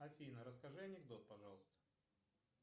афина расскажи анекдот пожалуйста